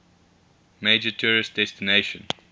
major tourist destination